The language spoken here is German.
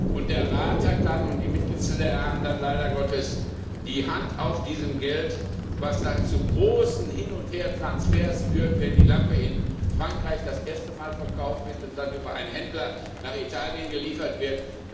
Und der Rat und die Mitgliedsstaaten haben dann leider Gottes die Hand auf diesem Geld, was dann zu großen Hin und Hertransfers führt, wenn die Lampe in Frankreich das erste Mal verkauft wird und dann über einen Händler nach Italien geliefert wird.